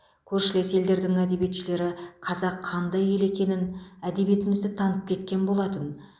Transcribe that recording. көршілес елдердің әдиебетшілері қазақ қандай ел екенін әдебиетімізді танып кеткен болатын